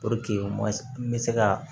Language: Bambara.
n bɛ se ka